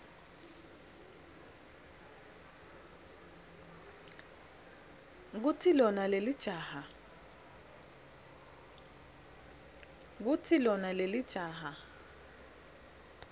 kutsi lona lelijaha